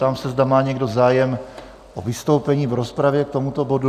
Ptám se, zda má někdo zájem o vystoupení v rozpravě k tomuto bodu?